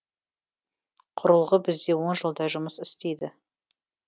құрылғы бізде он жылдай жұмыс істейді